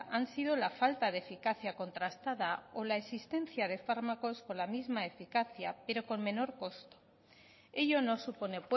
han sido la falta de eficacia contrastada o la existencia de fármacos con la misma eficacia pero con menor coste ello no supone